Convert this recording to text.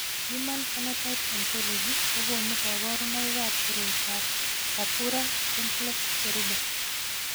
Human Phenotype Ontology kokonu kabarunoikab koriotoab Purpura simplex cherube.